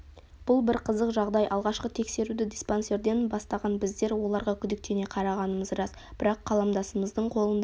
бұл бір қызық жағдай алғашқы тексеруді диспансерден бастаған біздер оларға күдіктене қарағанымыз рас бірақ қаламдасымыздың қолында